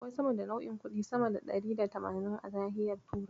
Akwai sama da nau'in kuɗi sama da ɗari da tamanin a nahiyar Turai.